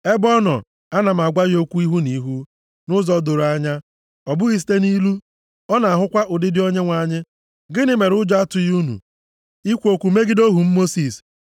Nʼebe ọ nọ, ana m agwa ya okwu ihu na ihu nʼụzọ doro anya, ọ bụghị site nʼilu, ọ na-ahụkwa ụdịdị Onyenwe anyị. Gịnị mere ụjọ atụghị unu ikwu okwu megide ohu m Mosis?”